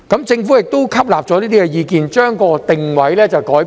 政府亦吸納了這些意見，將其定位改變了。